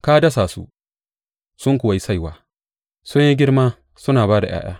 Ka dasa su, sun kuwa yi saiwa; sun yi girma suna ba da ’ya’ya.